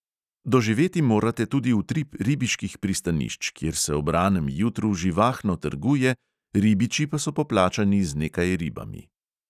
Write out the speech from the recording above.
Doživeti morate tudi utrip ribiških pristanišč, kjer se ob ranem jutru živahno trguje, ribiči pa so poplačani z nekaj ribami.